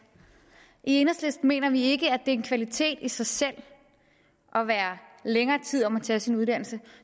i enhedslisten mener vi ikke at er en kvalitet i sig selv at være længere tid om at tage sin uddannelse